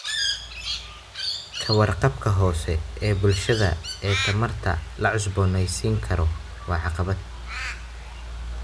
Ka warqabka hoose ee bulshada ee tamarta la cusboonaysiin karo waa caqabad.